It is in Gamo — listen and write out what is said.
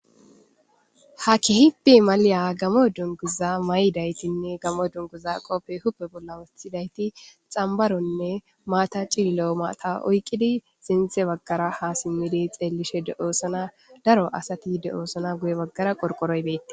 Ha keehipe malaliya gamo dunguza may7idaytinne gamo dunguza qopfe hupe bolla wostidayti xambaronne maata cillo7 maata oyqqidi sinthe baggara ha simmidi xeellishe de oosana daro asati de7oosana guye baggara qorqoroy beeti.